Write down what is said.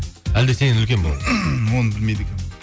әлде сеннен үлкен бе ол оны білмейді екенмін